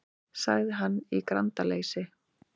sagði hann í grandaleysi.